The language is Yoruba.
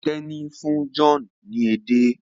Teni fún John ní ede.